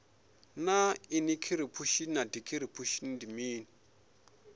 naa inikhiripushini na dikhipushin ndi mini